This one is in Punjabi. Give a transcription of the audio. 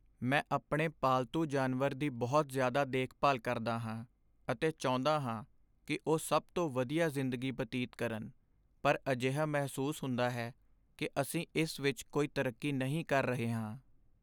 ਮੈਂ ਆਪਣੇ ਪਾਲਤੂ ਜਾਨਵਰ ਦੀ ਬਹੁਤ ਜ਼ਿਆਦਾ ਦੇਖਭਾਲ ਕਰਦਾ ਹਾਂ ਅਤੇ ਚਾਹੁੰਦਾ ਹਾਂ ਕਿ ਉਹ ਸਭ ਤੋਂ ਵਧੀਆ ਜ਼ਿੰਦਗੀ ਬਤੀਤ ਕਰਨ, ਪਰ ਅਜਿਹਾ ਮਹਿਸੂਸ ਹੁੰਦਾ ਹੈ ਕਿ ਅਸੀਂ ਇਸ ਵਿੱਚ ਕੋਈ ਤਰੱਕੀ ਨਹੀਂ ਕਰ ਰਹੇ ਹਾਂ।